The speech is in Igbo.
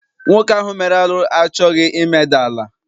Nwoke ahụ mere arụ achọghị imeda ala.